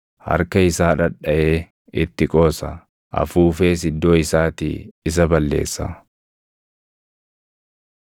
Harka isaa dhadhaʼee itti qoosa; afuufees iddoo isaatii isa balleessa.”